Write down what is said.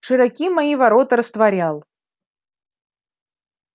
широки мои ворота растворял